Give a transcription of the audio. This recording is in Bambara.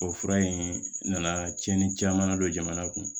O fura in nana tiɲɛni caman na don jamana kun